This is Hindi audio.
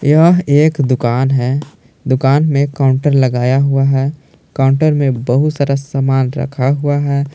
यह एक दुकान है दुकान में काउंटर लगाया हुआ है काउंटर में बहुत सारा सामान रखा हुआ है।